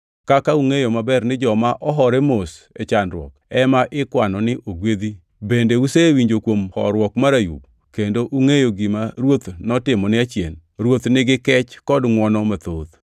Kaka ungʼeyo maber ni joma ohore mos e chandruok ema ikwano ni ogwedhi bende usewinjo kuom horuok mar Ayub, kendo ungʼeyo gima Ruoth notimone achien. Ruoth nigi kech kod ngʼwono mathoth.